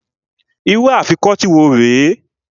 Irú Afikọ́tí wo rè é?